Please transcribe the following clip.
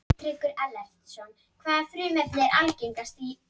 Maðurinn hennar hafði smíðað það og gefið henni.